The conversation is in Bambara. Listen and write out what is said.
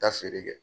Taa feere kɛ